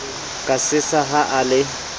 ka sesa ha o le